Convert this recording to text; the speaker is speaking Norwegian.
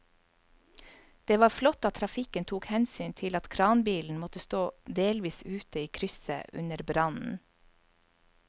Det var flott at trafikken tok hensyn til at kranbilen måtte stå delvis ute i krysset under brannen.